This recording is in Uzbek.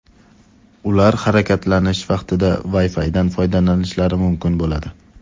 Ular harakatlanish vaqtida Wi-Fi’dan foydalanishlari mumkin bo‘ladi.